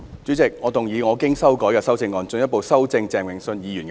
主席，我動議我經修改的修正案，進一步修正鄭泳舜議員的議案。